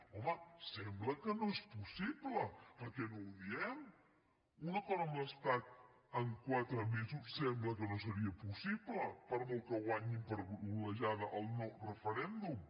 home sembla que no és possible per què no ho diem un acord amb l’estat en quatre mesos sembla que no seria possible per molt que guanyin per golejada el no referèndum